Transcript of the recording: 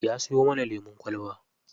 Ya siyo mana lemun kwalba.